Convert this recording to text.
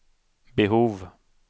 behov